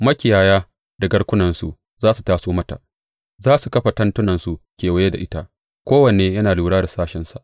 Makiyaya da garkunansu za su taso mata; za su kafa tentunansu kewaye da ita, kowanne yana lura da sashensa.